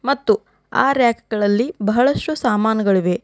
ಮತ್ತು ಆ ರ್ಯಾಕ್ಗಳಲ್ಲಿ ಬಹಳಷ್ಟು ಸಾಮಾನುಗಳಿವೆ.